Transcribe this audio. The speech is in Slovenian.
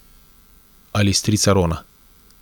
Ali strica Rona.